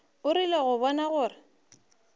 o rile go bona gore